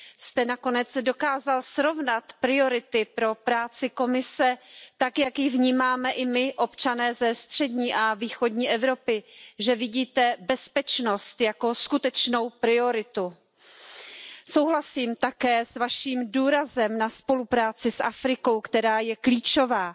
Elnök Asszony! Sajnálatra ad okot, hogy az óraátállítással ellentétben a nyugat balkáni régió már nem kapott kiemelt helyet Juncker elnök úr idei beszédében. Újra figyelmen kívül marad, hogy következetes üzenetekre, és politizálásra van szükség a térséggel kapcsolatban.